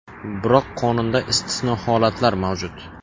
Biroq qonunda istisno holatlar mavjud.